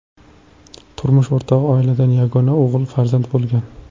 Turmush o‘rtog‘i oilada yagona o‘g‘il farzand bo‘lgan.